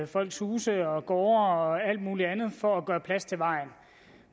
folks huse og gårde og alt muligt andet for at gøre plads til vejen